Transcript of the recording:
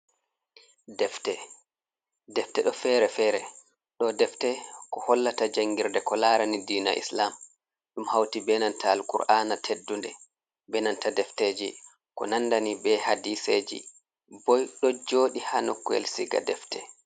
Defte defte ɗo fere-fere, ɗo defte, ko hollata janngirde, ko laarani diina islam, ɗum hawti be nanta al kur'aana teddunde, be nanta defteeji, ko nanda ni be hadiseeji boy, ɗo jooɗi haa nokkuyel siga defte.